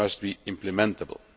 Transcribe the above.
They must be implementable'.